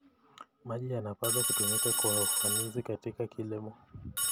Maji yanapaswa kutumika kwa ufanisi katika kilimo.